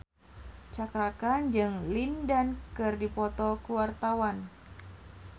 Cakra Khan jeung Lin Dan keur dipoto ku wartawan